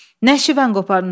Nəşi və qoparmısan?